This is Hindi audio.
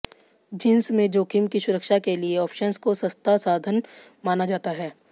जिंस में जोखिम की सुरक्षा के लिए ऑप्शंस को सस्ता साधन माना जाता है